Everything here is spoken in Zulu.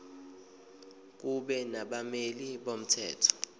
kube nabameli bomthetho